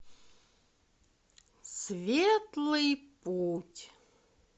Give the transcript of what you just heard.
светлый путь